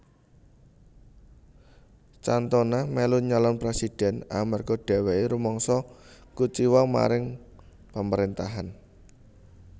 Cantona melu nyalon presidhèn amarga dheweke rumangsa kuciwa marang pamarentahan